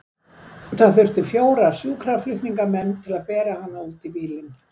Það þurfti fjóra sjúkraflutningamenn til að bera hana út í bílinn.